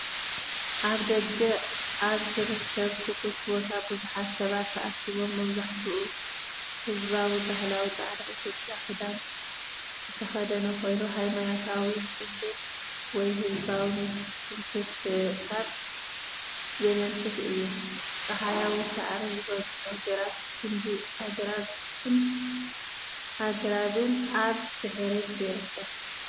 ኣብ ደገ ኣብ ዝርከብ ክፉት ቦታ ብዙሓት ሰባት ተኣኪቦም። መብዛሕትኡ ህዝቢ ባህላዊ ጻዕዳ ኢትዮጵያዊ ክዳን ዝተኸድነ ኮይኑ፡ ሃይማኖታዊ ጽምብል ወይ ህዝባዊ ምትእኽኻብ ዘመልክት እዩ። ጸሓያዊ ፡ ሳዕሪ ዝበዝሖ ግራት፡ ጕንዲ ኣግራብን ኣግራብን ኣብ ድሕሪት ይርከብ።